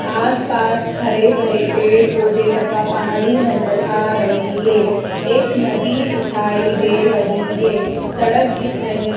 आसपास हरे भरे पेड़ पौधे तथा पहाड़ी नजर आ रही है। एक नदी दिखाई दे रही है। सड़क दिख रही--